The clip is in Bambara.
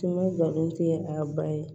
Tun bɛ galen tɛ a ka ba ye